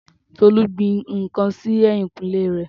Tolú gbin ǹkan sí ẹ̀yìnkùlé rẹ̀.